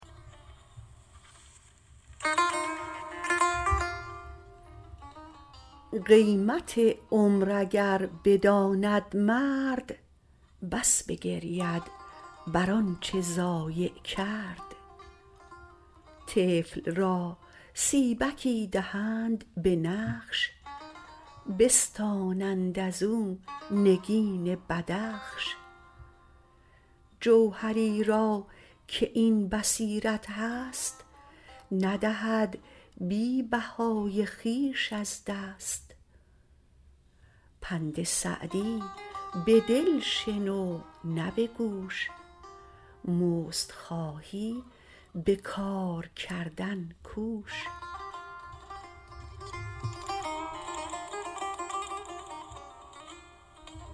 قیمت عمر اگر بداند مرد بس بگرید بر آنچه ضایع کرد طفل را سیبکی دهند به نقش بستانند ازو نگین بدخش جوهری را که این بصیرت هست ندهد بی بهای خویش از دست پند سعدی به دل شنو نه به گوش مزد خواهی به کار کردن کوش